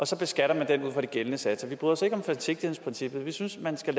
så beskatter den ud fra de gældende satser vi bryder os ikke om forsigtighedsprincippet vi synes man skal